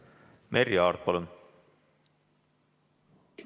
Merry Aart, palun!